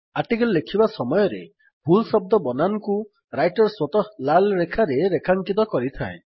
article ଲେଖିବା ସମୟରେ ଭୁଲ ଶଦ୍ଦ ବନାନକୁ ରାଇଟର୍ ସ୍ୱତଃ ଲାଲ୍ ରେଖାରେ ରେଖାଙ୍କିତ କରିଥାଏ